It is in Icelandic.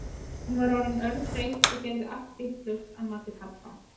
Hún var orðin örþreytt og gerði allt vitlaust að mati pabba.